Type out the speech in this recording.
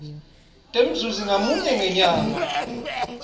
temzuzi ngamunye ngenyanga